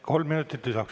Kolm minutit lisaks.